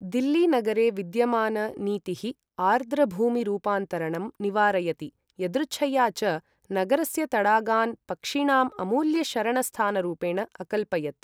दिल्ली नगरे विद्यमान नीतिः आर्द्रभूमिरूपान्तरणं निवारयति, यदृच्छया च, नगरस्य तडागान् पक्षिणाम् अमूल्य शरणस्थानरुपेण अकल्पयत्।